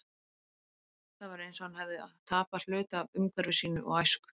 Það var eins og hann hefði tapað hluta af umhverfi sínu og æsku.